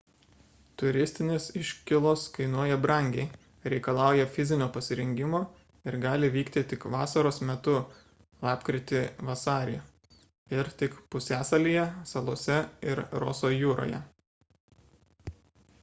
turistinės iškylos kainuoja brangiai reikalauja fizinio pasirengimo ir gali vykti tik vasaros metu lapkritį–vasarį ir tik pusiasalyje salose ir roso jūroje